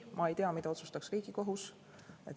Ma ei tea, mida otsustaks Riigikohus.